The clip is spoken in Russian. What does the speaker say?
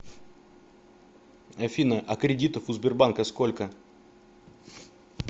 афина а кредитов у сбербанка сколько